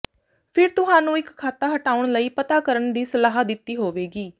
ਫਿਰ ਤੁਹਾਨੂੰ ਇੱਕ ਖਾਤਾ ਹਟਾਉਣ ਲਈ ਪਤਾ ਕਰਨ ਦੀ ਸਲਾਹ ਦਿੱਤੀ ਹੋਵੇਗੀ